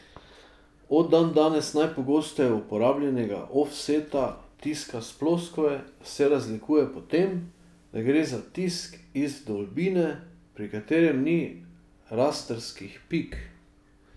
Od dandanes najpogosteje uporabljanega ofseta, tiska s ploskve, se razlikuje po tem, da gre za tisk iz vdolbine, pri katerem ni rastrskih pik.